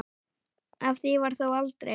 Af því varð þó aldrei.